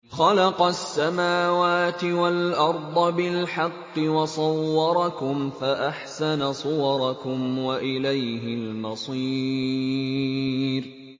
خَلَقَ السَّمَاوَاتِ وَالْأَرْضَ بِالْحَقِّ وَصَوَّرَكُمْ فَأَحْسَنَ صُوَرَكُمْ ۖ وَإِلَيْهِ الْمَصِيرُ